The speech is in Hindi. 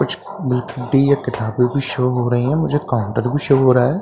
कुछ किताबें भी शो हो रही हैं मुझे काउंटर भी शो हो रहा हैं।